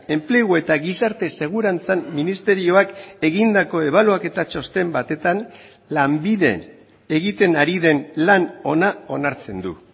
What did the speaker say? enplegu eta gizarte segurantzan ministerioak egindako ebaluaketa txosten batetan lanbide egiten ari den lan ona onartzen du